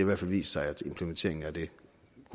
hvert fald vist sig at implementeringen af det